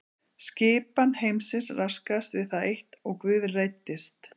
Skipan heimsins raskaðist við það eitt og Guð reiddist.